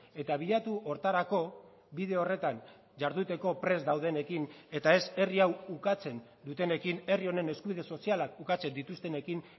eta bilatu horretarako bide horretan jarduteko prest daudenekin eta ez herri hau ukatzen dutenekin herri honen eskubide sozialak ukatzen dituztenekin